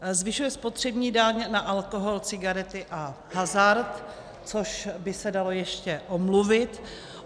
Zvyšuje spotřební daň na alkohol, cigarety a hazard, což by se dalo ještě omluvit.